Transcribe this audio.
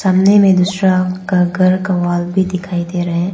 सामने में दूसरा का घर का वॉल भी दिखाई दे रहा है।